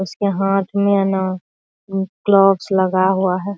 उसके हाथ मे ना उ क्लॉक्स लगा हुआ है ।